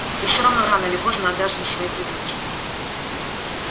ты все равно рано или поздно отдашь им своих любимцев